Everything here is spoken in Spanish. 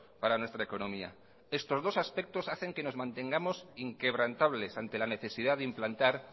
para nuestra economía estos dos aspectos hacen que nos mantengamos inquebrantables ante la necesidad de implantar